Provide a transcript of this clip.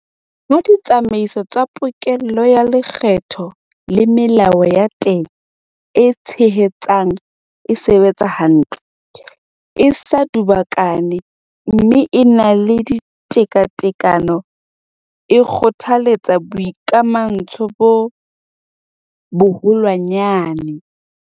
Ha ditsamaiso tsa pokello ya lekgetho le melao ya teng e tshehetsang e sebetsa hantle, e sa dubakana mme e na le tekatekano, e kgothaletsa boikamahantsho bo boholwanyane.